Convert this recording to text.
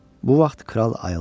Bu vaxt kral ayıldı.